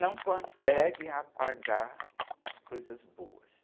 não conseguem apagar as coisas boas.